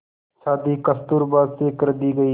शादी कस्तूरबा से कर दी गई